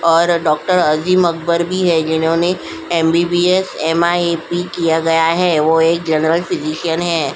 और डॉक्टर अजीम अकबर में है जिन्होंने एमबीबीएस एमआईएपी किया गया है वो एक जनरल फिजिशियन है।